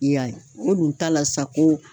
I y'a ye, o dun ta la sa ko